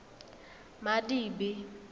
madibe